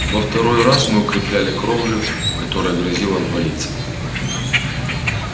во второй раз мы укрепляли кровлю которая грозила обвалиться